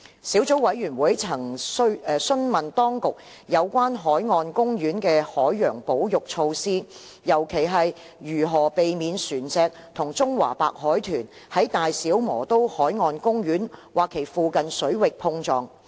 小組委員會曾詢問當局有關海岸公園的海洋保育措施，尤其是如何避免船隻與中華白海豚在大小磨刀海岸公園或其附近水域碰撞。